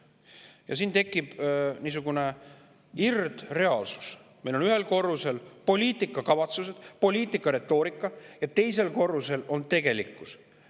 Ja siin tekib niisugune irdreaalsus: meil on ühel korrusel poliitikakavatsused ja poliitiline retoorika ning teisel korrusel on tegelikkus.